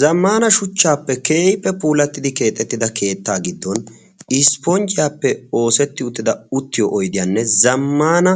Zammana shuchchaappe keeyipfe puulattidi keexettida keettaa giddon ispponjjiyaappe oosetti uttida uttiyo oidiyaanne zammana